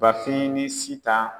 Bafin ni Sitan